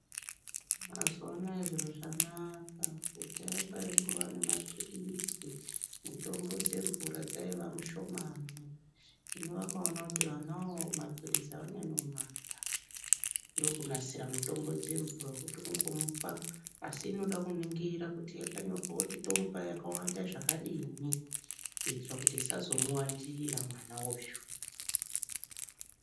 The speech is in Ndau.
Mazuwanaya zviro zvanaka kudhaya kwaingava nemaphilizi mutombo dzemvura dzaiva mushomani hino vakaonawo kuti vana maphirizi avanyanyi kumada ndokunasira mutombo dzemvura dzekuti kungomuoa asi inoda kuningirwa kuti yakanyorwa kuti tomupa yakawanda zvakadini kutora kuti zvisazomuwandira mwana uyu.